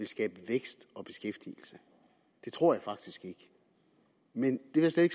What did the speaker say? skabe vækst og beskæftigelse det tror jeg faktisk ikke men det vil jeg